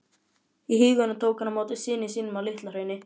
í huganum tók hann á móti syni sínum á LitlaHrauni.